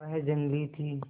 वह जंगली थी